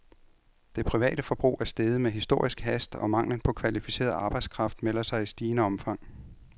Det private forbrug er steget med historisk hast, og manglen på kvalificeret arbejdskraft melder sig i stigende omfang.